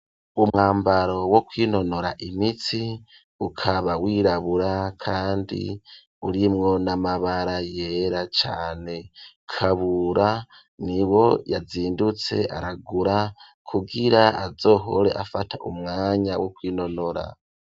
Umwambaro wo kwinonora imitsi ukaba wirabura kandi urimwo n'amabara yera cane, kabura nibo yazindutse aragura kugira azohore afata umwanya wo kwinonora.